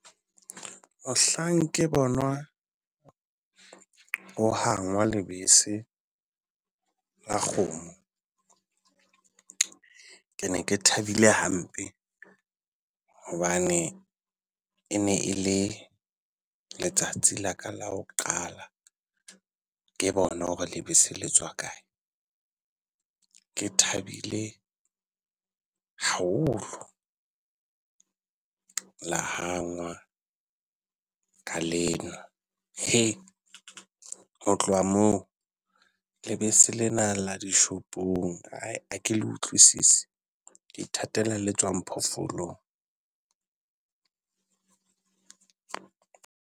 Mohlang ke bonwa ho hangwa lebese la kgomo, ke ne ke thabile hampe hobane e ne e le letsatsi la ka la ho qala ke bona hore lebese le tswa kae. Ke thabile haholo. La hangwa ka le nwa. Ho tloha moo lebese le na la dishopong ha le utlwisise, ke ithatela le tswang phoofolong.